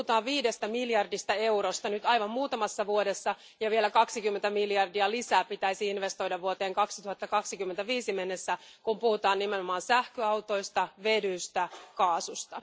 Puhutaan viidestä miljardista eurosta nyt aivan muutamassa vuodessa, ja vielä 20 miljardia lisää pitäisi investoida vuoteen 2025 mennessä, kun puhutaan nimenomaan sähköautoista, vedystä ja kaasusta.